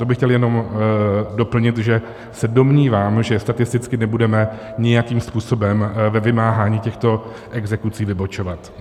To bych chtěl jenom doplnit, že se domnívám, že statisticky nebudeme nijakým způsobem ve vymáhání těchto exekucí vybočovat.